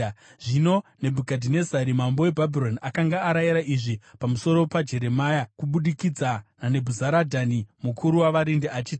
Zvino Nebhukadhinezari mambo weBhabhironi akanga arayira izvi pamusoro paJeremia kubudikidza naNebhuzaradhani mukuru wavarindi, achiti,